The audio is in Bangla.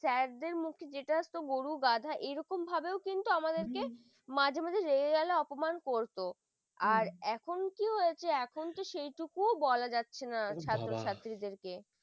sir দের মুখ যেটা গরু গাধা এরকম ভাবো কিন্তু আমাদেরকে মাঝে মাঝে রেগে অপমান করত আর এখন কি হয়েছে সেটুকুও বলা যাচ্ছে না ছাত্র-ছাত্রীদের ও বাবা